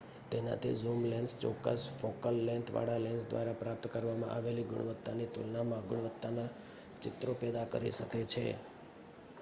તેનાથી zoom lens ચોક્કસ focal length વાળા લેન્સ દ્વારા પ્રાપ્ત કરવામાં આવેલી ગુણવત્તાની તુલનામાં ગુણવત્તાના ચિત્રો પેદા કરી શકે છે